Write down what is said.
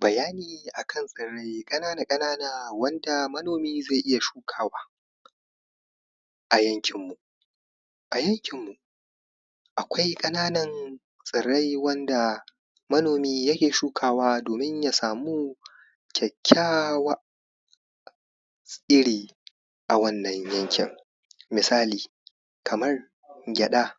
bayani a kan tsirrai ƙanana ƙanana wanda manomi zai iya shukawa a yankin mu a yankin mu akwai ƙananan tsirrai wanda manomi ya ke shuka wa domin ya samu kyakykyawar tsiri a wannan yankin misali kamar gyaɗa